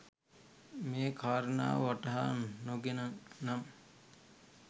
මේ කාරණාව වටහා නො ගෙන නම්